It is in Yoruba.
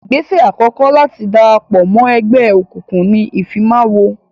Ìgbésẹ̀ àkọ́kọ́ láti darapọ̀ mọ́ ẹgbẹ́ òkùnkùn ni ìfimawo.